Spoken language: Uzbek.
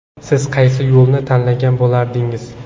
Siz qaysi yo‘lni tanlagan bo‘lardingiz?